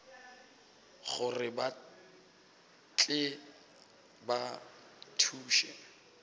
gore ba tle ba thuše